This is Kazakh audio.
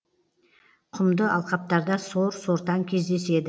құмды алқаптарда сор сортаң кездеседі